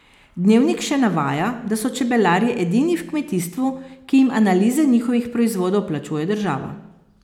Dnevnik še navaja, da so čebelarji edini v kmetijstvu, ki jim analize njihovih proizvodov plačuje država.